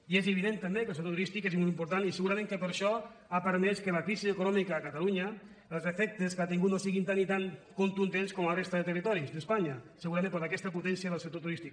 i és evident també que el sector turístic és molt important i segurament que per això ha permès que la crisi econòmica a catalunya els efectes que ha tingut no siguin tan i tan contundents com a la resta de territoris d’espanya segurament per aquesta potència del sector turístic